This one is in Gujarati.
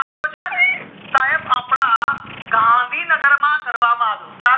આયોજન સાયબ અપડા ગાંધીનગર માં કરવામાં આવ્યો ક્યાં